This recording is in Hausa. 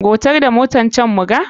Gautar da motar can muga.